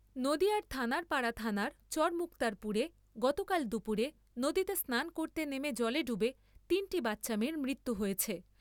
নদীয়ার থানারপাড়া থানার চরমুক্তার পুরে গতকাল দুপুরে নদীতে স্নান করতে নেমে জলে ডুবে তিনটি বাচ্চা মেয়ের মৃত্যু হয়েছে ।